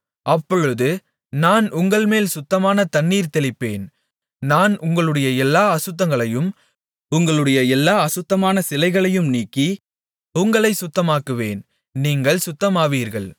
அப்பொழுது நான் உங்கள்மேல் சுத்தமான தண்ணீர் தெளிப்பேன் நான் உங்களுடைய எல்லா அசுத்தங்களையும் உங்களுடைய எல்லா அசுத்தமான சிலைகளையும் நீக்கி உங்களைச் சுத்தமாக்குவேன் நீங்கள் சுத்தமாவீர்கள்